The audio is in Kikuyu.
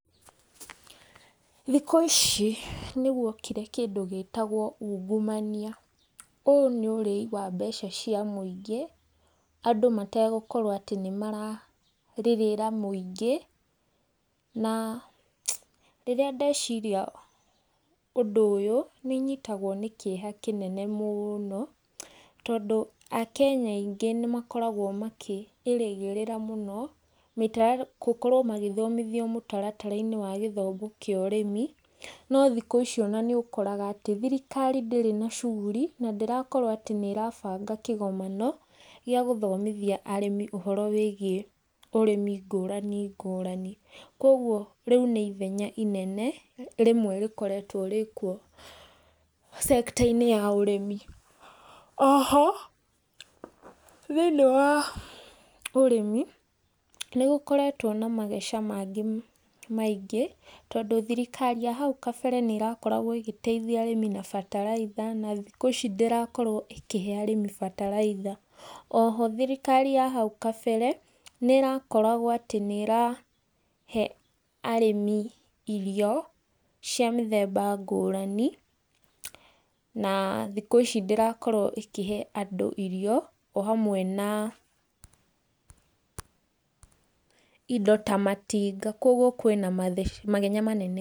Thikũ ici nĩ gwokire kĩndũ gĩtagwo ungumania, ũũ nĩ ũrĩi wa mbeca cia mũingĩ, andũ mategũkorwo atĩ nĩ mararĩrĩra mũingĩ, na rĩrĩa ndeciria ũndũ ũyũ nĩ nyitagwo nĩ kĩeha kĩnene mũno, tondũ akenya aingĩ nĩ makoragwo makĩ ĩrĩgĩrĩra mũno, gũkorwo magĩthomithio mũtaratara-inĩ wa gĩthomo kĩa ũrĩmi, no thikũ ici ona nĩ ũkoraga atĩ thirikari ndĩrĩ na shughuli na ndĩrakorwo atĩ nĩ ĩrabanga kĩgomano, gĩa gũthomithia arĩmi ũhoro wĩgiĩ ũrĩmi ngũrani ngũrani. Koguo rĩu nĩ ithenya inene rĩmwe rĩkoretwo rĩ kuo cekta-inĩ ya ũrĩmi. Oho thĩinĩ wa ũrĩmi nĩ gũkoretwo na mageca mangĩ maingĩ, tondũ thirikari ya hau kabere nĩ irakoragwo ĩgĩteithia arĩmi na bataraitha na thikũ ici ndĩrakorwo ĩkĩhe arĩmi bataraitha. Oho thirikari ya hau kabere, nĩ irakoragwo atĩ nĩ ĩrahe arĩmi irio cia mĩthemba ngũrani, na thikũ ici ndĩrakorwo ikĩhe andũ irio o hamwe na indo ta matinga koguo kwĩna mathenya manene.